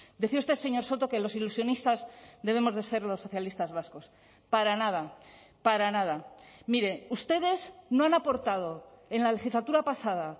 decía usted señor soto que los ilusionistas debemos de ser los socialistas vascos para nada para nada mire ustedes no han aportado en la legislatura pasada